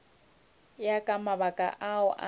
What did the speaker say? ya ka mabaka ao a